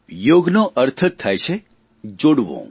યોગનો અર્થ જ થાય છે જોડવું